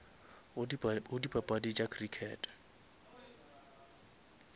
go dipapadi tša crickete